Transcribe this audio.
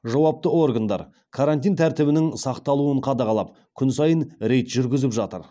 жауапты органдар карантин тәртібінің сақталуын қадағалап күн сайын рейд жүргізіп жатыр